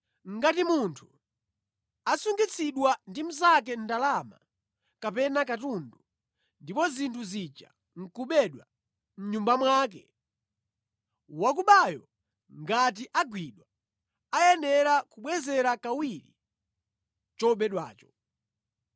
“Ngati munthu asungitsidwa ndi mnzake ndalama kapena katundu, ndipo zinthu zija nʼkubedwa mʼnyumba mwake, wakubayo ngati agwidwa, ayenera kubwezera kawiri chobedwacho.